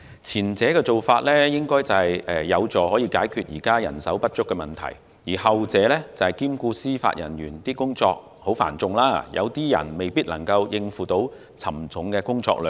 前者應有助解決現時人手不足的問題，後者則兼顧司法人員工作繁重，當中有些人未必能夠應付沉重的工作量。